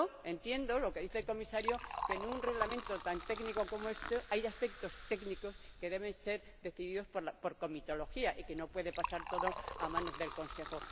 Entiendo lo que dice el Comisario, que en un reglamento tan técnico como este hay aspectos técnicos que deben ser decididos por comitología y que no puede pasar todo a manos del Consejo.